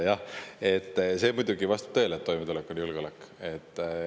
Jah, see muidugi vastab tõele, et toimetulek on julgeolek.